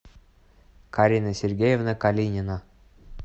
карина сергеевна калинина